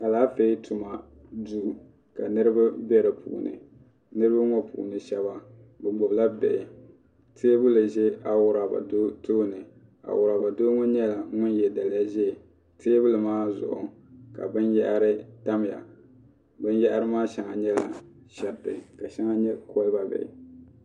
Alaafee tuma duu ka niriba bɛ di puuni niriba ŋɔ puuni shɛba bi gbubi la bihi tɛɛbuli zɛ awuraba doo tooni awuraba doo ŋɔ nyɛla ŋuni ye daliya zɛɛ tɛɛbuli maa zuɣu ka bini yahari tamiya bini yahari maa shɛŋa nyɛla shɛriti ka shɛŋa nyɛ koliba bihi.